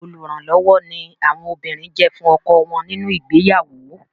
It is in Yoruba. Olùrànlọ́wọ́ ni àwọn obìnrin jẹ́ fún ọkọ wọn nínu ìgbéyàwó.